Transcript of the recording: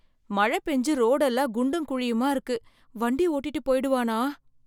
மழை பெஞ்சு ரோடு எல்லாம் குண்டும் குழியுமா இருக்கு வண்டி ஓட்டிட்டு போயிடுவானா?